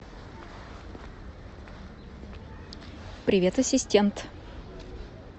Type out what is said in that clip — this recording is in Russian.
привет ассистент